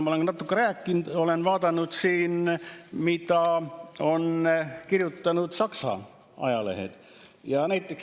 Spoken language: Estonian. Ma olen juba natuke rääkinud, et ma olen vaadanud, mida on kirjutanud Saksa ajalehed.